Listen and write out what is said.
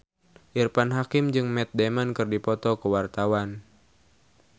Irfan Hakim jeung Matt Damon keur dipoto ku wartawan